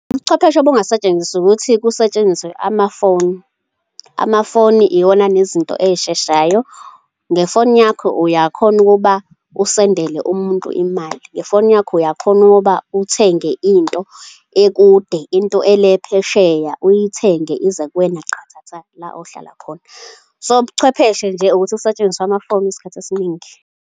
Ubuchwepheshe obungasetshenziswa ukuthi kusetshenziswe amafoni. Amafoni iwona anezinto ey'sheshayo, ngefoni yakho uyakhona ukuba usendele umuntu imali, ngefoni yakho uyakhona ukuba uthenge into ekude, into ele phesheya uyithenge ize kuwena qathatha la ohlala khona. So ubuchwepheshe nje ukuthi kusetshenziswe amafoni isikhathi esiningi.